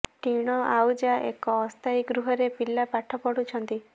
ଟିଣ ଆଉଜା ଏକ ଅସ୍ଥାୟୀ ଗୃହରେ ପିଲା ପାଠ ପଢ଼ୁଛନ୍ତି